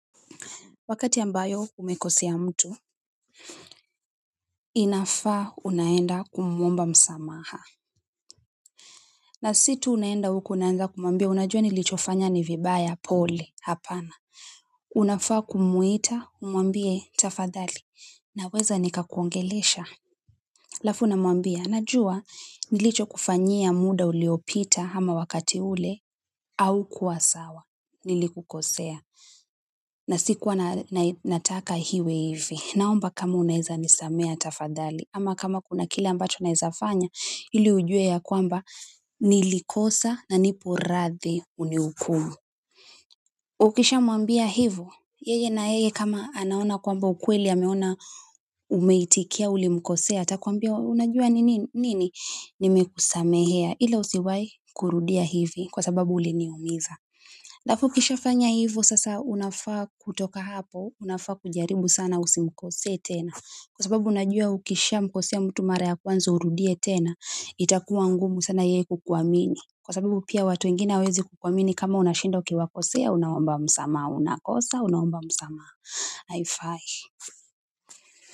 Wakati ambayo umekosea mtu, inafaa unaenda kumuomba msamaha. Na si tu unaenda huko unaanza kumuambia, unajua nilichofanya ni vibaya pole hapana. Unafaa kumuita, umwambie tafadhali. Naweza nikakuongelesha. Halafu unamwambia, najua nilicho kufanyia muda uliopita ama wakati ule haukuwa sawa. Nilikukosea na sikuwa nataka iwe hivi naomba kama unaeza nisamea tafadhali ama kama kuna kila ambacho naeza fanya ili ujue yakwamba nilikosa na nipo radhi unihukumu. Ukisha mwambia hivo yeye nayeye kama anaona kwamba ukweli ameona umeitikia ulimkosea atakwambia unajua nini nini nimekusamehea ila usiwahi kurudia hivi kwa sababu uliniumiza halafu ukishafanya hivyo sasa unafaa kutoka hapo unafaa kujaribu sana usimkose tena kwa sababu unajua ukishamkosea mtu mara ya kwanza urudie tena itakuwa ngumu sana yeye kukuamini kwa sababu pia watu wengina hawaezi kukuamini kama unashinda ukiwakosea unaomba msamaha unakosa unaomba msamaha haifai.